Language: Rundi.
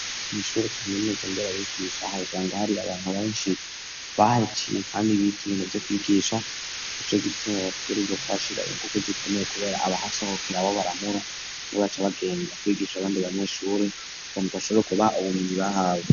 Ishure kaminuza nderabibgisha uhasanga hari abantu benshi bahaciye kandi bize ibintu vyo kwigisha nicogituma bategerezwa kuhashira inguvu zikomeye kubera abahasohokera abo baramura nibacabagenda kwigisha abandi banyeshuri kunk shobora kuba ubumenyi bahawe.